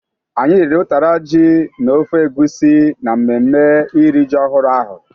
Anyị riri utara ji na ofe egusi na mmemme iri ji ọhụrụ ahụ.